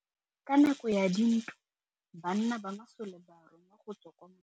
Ka nakô ya dintwa banna ba masole ba rongwa go tswa kwa mothêô.